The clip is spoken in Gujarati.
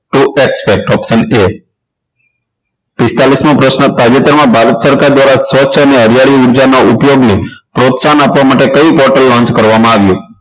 to except option a પિસ્તાલીસ મો પ્રશ્ન તાજેતરમાં ભારત સરકાર દ્વારા હરિયાળી ઊર્જાના ઉપયોગની પ્રોત્સાહન આપવા માટે કઈ bottle launch કરવામાં આવી